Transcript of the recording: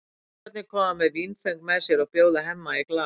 Strákarnir koma með vínföng með sér og bjóða Hemma í glas.